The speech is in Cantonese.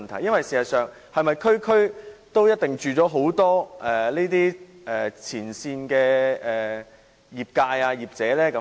事實上，是否每區都住了很多前線的業者呢？